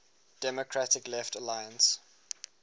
democratic left alliance